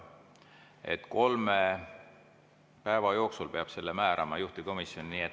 Nii et kolme päeva jooksul peab selle määrama, juhtivkomisjoni.